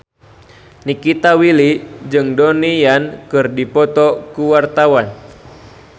Nikita Willy jeung Donnie Yan keur dipoto ku wartawan